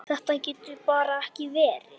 Þetta getur bara ekki verið.